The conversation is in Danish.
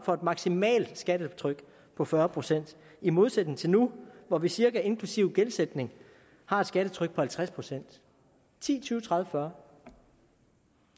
for et maksimalt skattetryk på fyrre procent i modsætning til nu hvor vi cirka inklusive gældsætning har et skattetryk på halvtreds procent ti tyve tredive fyrre